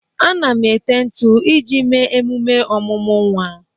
Ana m ete ntụ iji mee emume ọmụmụ nwa